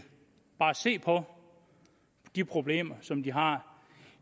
se på de problemer som de har